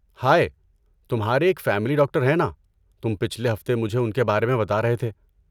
ہائے، تمہارے ایک family doctor ہیں ناں؟ تم پچھلے ہفتے مجھے ان کے بارے میں بتا رہے تھے۔